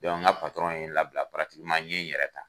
n ga ye n labila n ye in yɛrɛ ta.